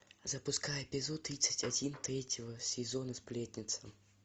запускай эпизод тридцать один третьего сезона сплетница